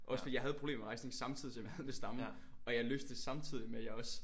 Også fordi jeg havde problemer med rejsning samtidig som jeg havde det stammen og jeg løste det samtidigt med jeg også